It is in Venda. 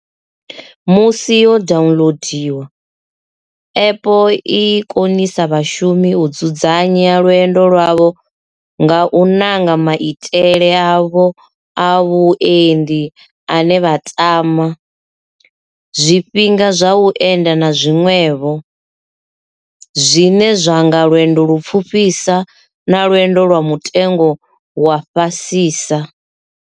Musi yo daunolodiwa, app i konisa vhashumisi u dzudzanya lwendo lwavho nga u nanga maitele avho a vhuendi ane vha tama, zwifhinga zwa u enda na zwiṅwevho, zwine zwa nga lwendo lupfufhisa na lwendo lwa mutengo wa fhasisa.